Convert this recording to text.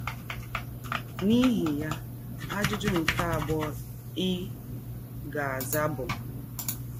N’ihi ya, ajụjụ nke abụọ ị ga - aza bụ...